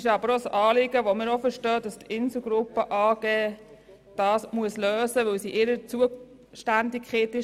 Wir haben aber auch Verständnis dafür, dass die Inselgruppe AG dieses Problem lösen muss, weil die Parkplätze in ihrer Zuständigkeit liegen.